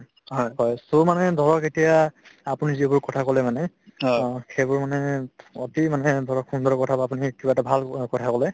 হয় so মানে ধৰক এতিয়া আপুনি যিবোৰ কথা কলে মানে সেইবোৰ মানে অতি মানে ধৰক সুন্দৰ কথা আপুনি কিবা এটা ভাল অ কথা কলে